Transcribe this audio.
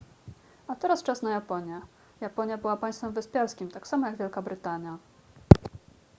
a teraz czas na japonię japonia była państwem wyspiarskim tak samo jak wielka brytania